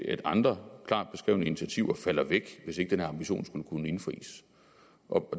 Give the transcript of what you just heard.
at andre klart beskrevne initiativer falder væk hvis ikke den her ambition skulle kunne indfries